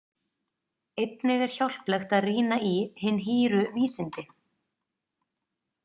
Einnig er hjálplegt að rýna í Hin hýru vísindi.